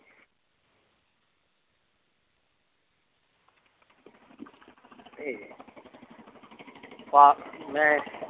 ਮੈਂ